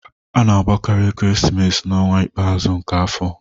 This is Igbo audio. A na-agbakarị ekeresimesi n'ọnwa ikpeazụ nke afọ